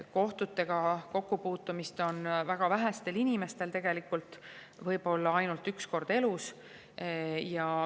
Kohtutega kokkupuutumist on tegelikult väga vähestel inimestel ja võib-olla ainult üks kord elus.